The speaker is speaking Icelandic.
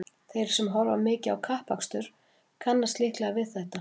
Þeir sem horfa mikið á kappakstur kannast líklega við þetta.